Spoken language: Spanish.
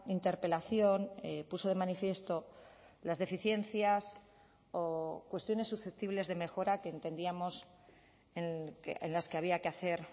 interpelación puso de manifiesto las deficiencias o cuestiones susceptibles de mejora que entendíamos en las que había que hacer